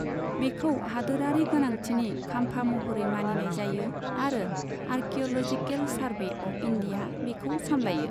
बेखौ हादोरारि गोनांथिनि खाम्फा महरै मानिनाय जायो आरो आर्केअ'ल'जिकेल सारभे अफ इन्डिया बेखौ सामलायो।